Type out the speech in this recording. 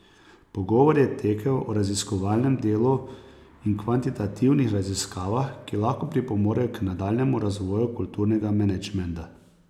Pogovor je tekel o raziskovalnem delu in kvantitativnih raziskavah, ki lahko pripomorejo k nadaljnjemu razvoju kulturnega menedžmenta.